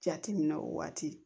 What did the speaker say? Jate minɛ o waati